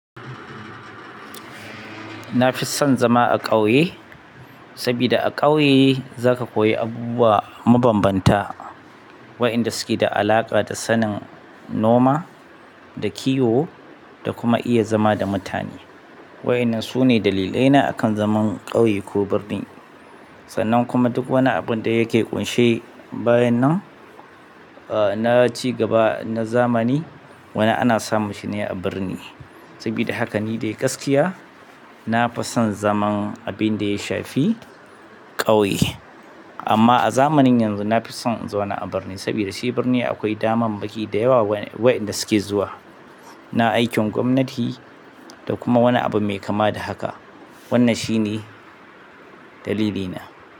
Na fi son zama a ƙauye, saboda a ƙauye za ka koyi abubuwa mabanbanta, waɗanda suke da alaƙa da sanin noma da kiwo da kuma iya zama da mutane. Wa'yan nan sune dalilai na a kan zaman ƙauye ko birni sannan kuma duk wani abun da yake ƙunshe bayan nan, eh na ci gaba na zamani, wane ana samun shi ne a birni. Sabida haka nifai gaskiya nafi san zaman abinda ya shafi ƙauye amma a zamanin yanzu na fi son in zau na a birni, saboda shi birni akwai daman maki da yawa waɗanda suke zuwa, na aikin gwamnati da kuma wani abu mai kama da haka. Wannan shi ne dalili na.